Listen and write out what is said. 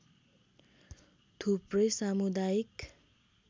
थुप्रै सामुदायिक